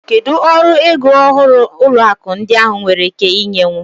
Kedu ọrụ ego ọhụrụ ụlọ akụ ndị ahịa nwere ike inye?